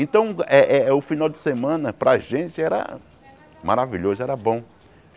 Então, eh eh o final de semana para a gente era maravilhoso, era bom.